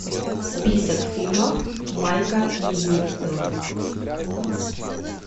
список фильмов майка ньюэлла